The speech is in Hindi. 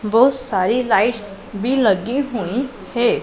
बहुत सारी लाइट्स बी लगी हुईं है।